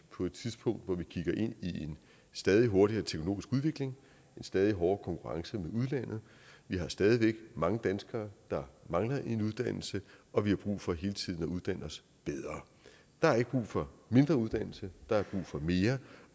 på et tidspunkt hvor vi kigger ind i en stadig hurtigere teknologisk udvikling og en stadig hårdere konkurrence med udlandet vi har stadig væk mange danskere der mangler en uddannelse og vi har brug for hele tiden at uddanne os bedre der er ikke brug for mindre uddannelse der er brug for mere